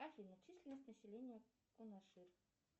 афина численность населения кунаши